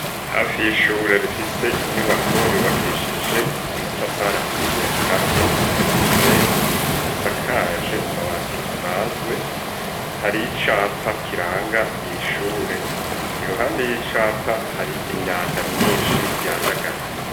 Hafi y'Ishure rifise inyubako yubakishije amatafari ahiye akatiye n'isima n'umusenyi, asakaje amabati asanzwe har'icapa kiranga ir, irishure, iruhande y'icapa hari imyanda myinshi yandagaye.